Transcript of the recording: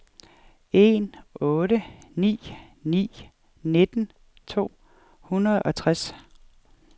en otte ni ni nitten to hundrede og tres